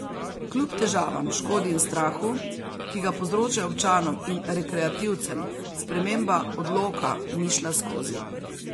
Kljub težavam, škodi in strahu, ki ga povzročajo občanom in rekreativcem, sprememba odloka ni šla skozi.